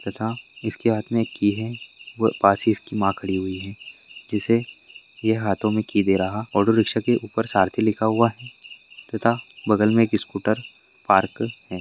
तथा इसके हाथ में एक की है व पास ही इसकी माँ खड़ी हुई है जिससे यह हाथों में की दे रहा ऑटो रिक्शा के ऊपर सारथी लिखा हुआ है तथा बगल में एक स्कूटर पार्क है।